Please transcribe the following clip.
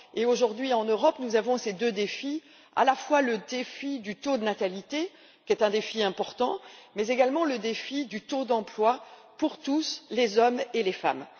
Aujourd'hui, en Europe, nous avons les deux défis suivants à la fois, le défi du taux de natalité qui est important, mais également celui du taux d'emploi pour tous les hommes et les femmes.